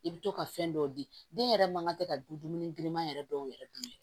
I bɛ to ka fɛn dɔw di den yɛrɛ man ka tɛ ka dun dumuni girinma yɛrɛ dɔw yɛrɛ dun